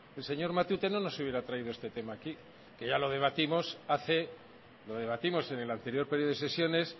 el señor matute no nos hubiera traído este tema aquí que ya lo debatimos hace lo debatimos en el anterior período de sesiones